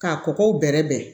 K'a kɔgɔw bɛrɛ bɛn